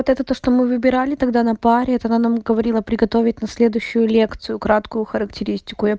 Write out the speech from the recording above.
это то что мы выбирали тогда на паре это она нам говорила приготовить на следующую лекцию краткую характеристику